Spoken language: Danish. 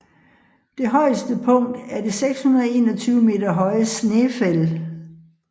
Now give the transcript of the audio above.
Det højeste punkt er det 621 meter høje Snaefell